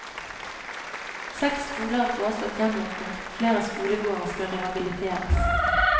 Seks skoler er foreslått gjenåpnet og flere skolegårder skal rehabiliteres.